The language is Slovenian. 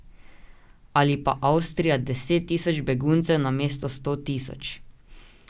Ali pa Avstrija deset tisoč beguncev namesto sto tisoč.